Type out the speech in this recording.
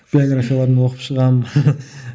биографияларын оқып шығамын